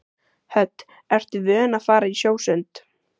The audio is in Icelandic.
Hödd: Ertu vön að fara í sjósund?